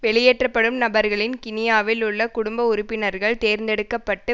வெளியேற்றப்படும் நபர்களின் கினியாவில் உள்ள குடும்ப உறுப்பினர்கள் தேர்ந்தெடுக்க பட்டு